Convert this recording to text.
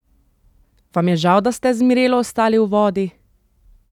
Vam je žal, da ste z Mirelo ostali v vodi?